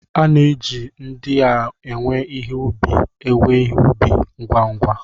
A na-eji ndị na-ewe ihe ubi ewe ihe ubi ngwa ngwa.